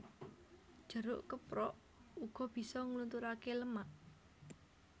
Jeruk keprok uga bisa nglunturaké lemak